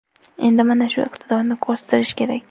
Endi mana shu iqtidorni o‘stirish kerak.